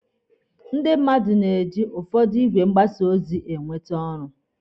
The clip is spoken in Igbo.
Ndị mmadụ na-eji ụfọdụ igwe mgbasa ozi ọtụtụ mmadụ e nweta ọrụ